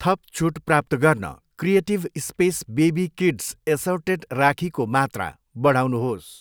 थप छुट प्राप्त गर्न creative space baby kids assorted राखीको मात्रा बढाउनुहोस्।